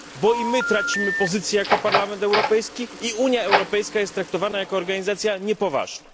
Bo i my tracimy pozycję jako Parlament Europejski i Unia Europejska jest traktowana jako organizacja niepoważna.